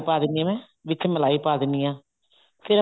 ਪਾ ਦੇਣੀ ਆ ਮੈਂ ਵਿੱਚ ਮਲਾਈ ਪਾ ਦਿੰਨੀ ਆ ਫ਼ੇਰ